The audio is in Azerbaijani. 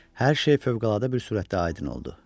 Hər şey fövqəladə bir sürətdə aydın oldu.